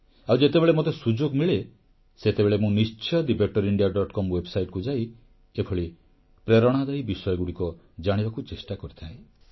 ଆଉ ଯେତେବେଳେ ମୋତେ ସୁଯୋଗ ମିଳେ ସେତେବେଳେ ମୁଁ ନିଶ୍ଚୟ thebetterindiacom ୱେବସାଇଟକୁ ଯାଇ ଏଭଳି ପ୍ରେରଣାଦାୟୀ ବିଷୟଗୁଡ଼ିକ ଜାଣିବାକୁ ଚେଷ୍ଟା କରିଥାଏ